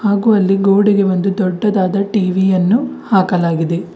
ಹಾಗೂ ಅಲ್ಲಿ ಗೋಡೆಗೆ ಒಂದು ದೊಡ್ಡದಾದ ಟಿ_ವಿ ಯನ್ನು ಹಾಕಲಾಗಿದೆ.